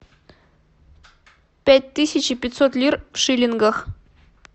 пять тысяч и пятьсот лир в шиллингах